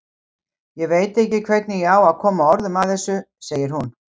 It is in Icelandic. Ég veit ekki hvernig ég á að koma orðum að þessu, segir hún.